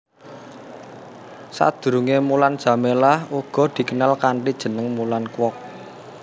Sadurungé Mulan Jameela uga dikenal kanthi jeneng Mulan Kwok